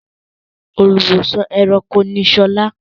Olùwósàn-ẹranko ni Sola.